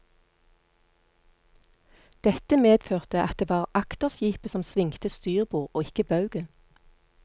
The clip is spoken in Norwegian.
Dette medførte at det var akterskipet som svingte styrbord og ikke baugen.